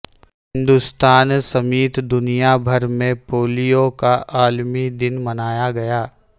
ہندوستان سمیت دنیا بھر میں پولیو کا عالمی دن منایا گیا